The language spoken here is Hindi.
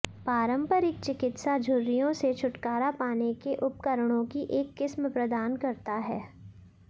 पारंपरिक चिकित्सा झुर्रियों से छुटकारा पाने के उपकरणों की एक किस्म प्रदान करता है